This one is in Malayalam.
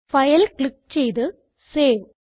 ഫൈൽ ക്ലിക്ക് ചെയ്ത് സേവ്